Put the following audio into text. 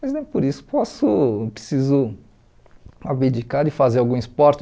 Mas nem por isso posso preciso abdicar de fazer algum esporte.